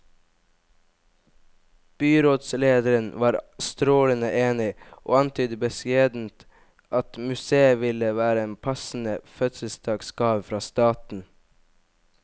Byrådslederen var strålende enig, og antydet beskjedent at museet ville være en passende fødselsdagsgave fra staten.